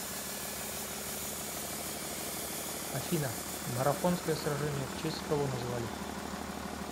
афина марафонское сражение в честь кого назвали